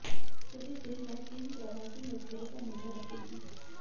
police दिन रात इन प्रवासी मजदूरों पर नजर रखेगी